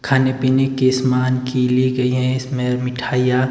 खाने पीने के समान की ली गई है इसमें मिठाइयां--